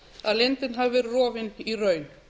að leyndin hafi verið rofin í raun